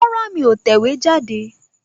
Rárá, mí ò tẹ̀wéjáde